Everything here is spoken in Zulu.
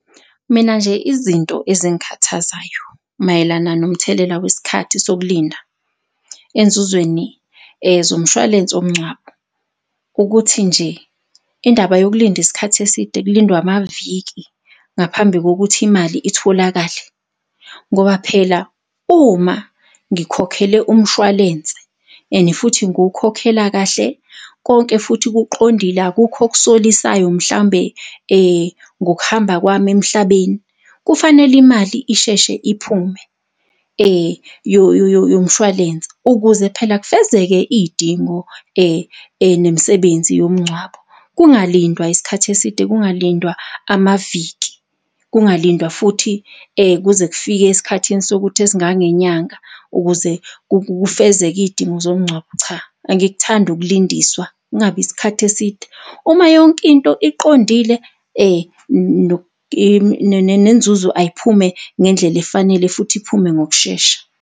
Mina nje izinto ezingikhathazayo mayelana nomthelela wesikhathi sokulinda enzuzweni zomshwalense womngcwabo, ukuthi nje indaba yokulinda isikhathi eside kulindwe amaviki ngaphambi kokuthi imali itholakale. Ngoba phela uma ngikhokhele umshwalense and futhi ngiwukhokhela kahle, konke futhi kuqondile, akukho okusolisayo mhlambe ngokuhamba kwami emhlabeni kufanele imali isheshe iphume yomshwalense. Ukuze phela kufezeke iy'dingo, nemisebenzi yomgcwabo, kungalindwa isikhathi eside, kungalindwa amaviki, kungalindwa futhi kuze kufike esikhathini sokuthi esingangenyanga ukuze kufezeke izidingo zomngcwabo. Cha, angikuthandi ukulindiswa, kungabi isikhathi eside. Uma yonkinto iqondile, nenzuzo ayiphume ngendlela efanele futhi iphume ngokushesha.